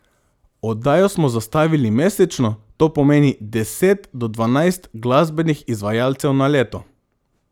Oddajo smo zastavili mesečno, to pomeni deset do dvanajst glasbenih izvajalcev na leto.